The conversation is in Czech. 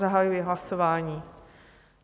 Zahajuji hlasování.